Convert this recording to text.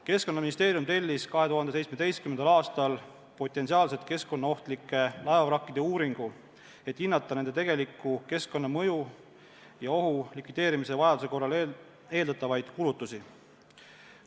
Keskkonnaministeerium tellis 2017. aastal potentsiaalselt keskkonnaohtlike laevavrakkide uuringu, et hinnata nende tegeliku keskkonnamõju ja -ohu likvideerimise vajaduse korral eeldatavaid kulutusi.